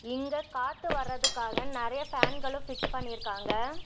இங்க காத்து வர்றதுக்காக நறைய ஃபேன்களு ஃபிக்ஸ் பண்ணிருகாங்க.